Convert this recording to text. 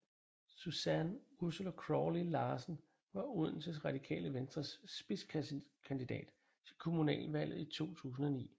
Susanne Ursula Crawley Larsen var Odense Radikale Venstres spidskandidat til kommunalvalget i 2009